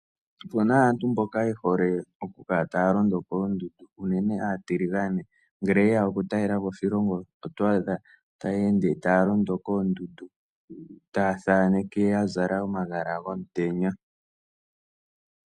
Opuna aantu mboka ye hole okukala taya londo koondundu. Aantu mboka aatiligane ngele teya okutalelapo moshilongo shetu oto adha ya londa koondundu taya thaneke ya zala omagala gomutenya.